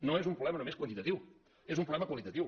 no és un problema només quantitatiu és un problema qualitatiu